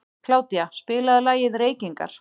Kládía, spilaðu lagið „Reykingar“.